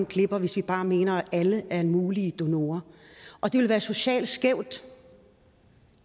glipper hvis vi bare mener at alle er mulige donorer og det vil være socialt skævt